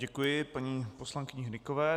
Děkuji paní poslankyni Hnykové.